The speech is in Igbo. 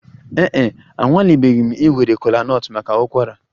Ee e, anwalebeghị m iwere kola nut maka ụkwara